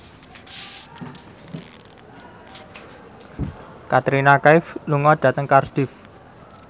Katrina Kaif lunga dhateng Cardiff